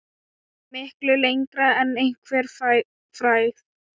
Miklu lengra en einhver frægð.